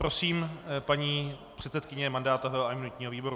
Prosím, paní předsedkyně mandátového a imunitního výboru.